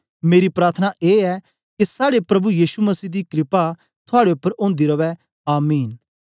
मेरी प्रार्थना ए ऐ के साड़े प्रभु यीशु मसीह दी क्रपा थुआड़े उपर ओंदी रवै आमीन